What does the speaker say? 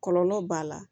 Kɔlɔlɔ b'a la